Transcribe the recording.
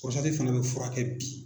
fana bɛ furakɛ bi